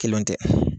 Kelenw tɛ